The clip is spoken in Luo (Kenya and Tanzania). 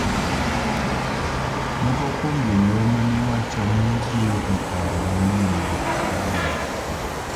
moko kuom jonyuol mane wacho ni giyudo paro mang'eny' mag obuongo